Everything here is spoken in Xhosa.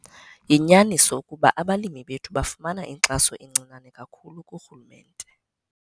Yinyaniso ukuba abalimi bethu bafumana inkxaso encinane kakhulu kurhulumente.